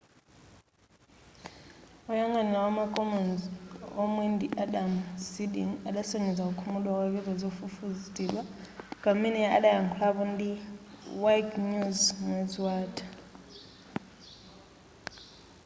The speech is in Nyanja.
woyang'anira wama commons omwe ndi adam cueden adasonyeza kukhumudwa kwake pozofufutidwa pamene adayakhulapo ndi a wikenews mwezi watha